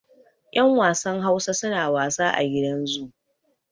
yan wasan Hausa suna wasa a gidan zu